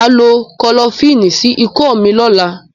màá lo Kọfilínì sí ikọ́ mi lọ́la